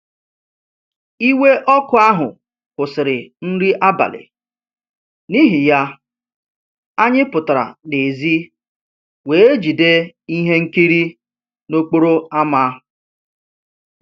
Iwe ọkụ ahụ kwụsịrị nri abalị, n'ihi ya, anyị pụtara n'èzí wee jide ihe nkiri n'okporo ámá